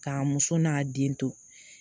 K'a muso n'a den to